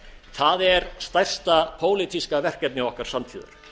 það er stærsta pólitíska verkefni okkar samtíðar